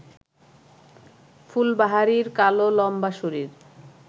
ফুলবাহারির কালো লম্বা শরীর